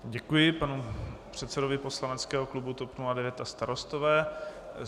Děkuji panu předsedovi poslaneckého klubu TOP 09 a Starostové.